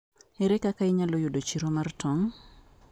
Ere kaka inyalo yudo chiro mar tong?